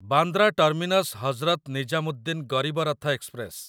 Bandra terminus Hazrat Nizamuddin Garib Rath express